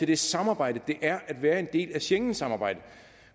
det samarbejde det er at være en del af schengensamarbejdet